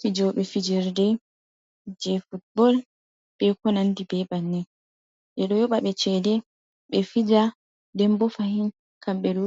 Fijoɓe fijerde je futbol be konandi be bannin ɓeɗo yoɓa ɓe chede ɓe fija nden bo fahin kam ɓe ɗo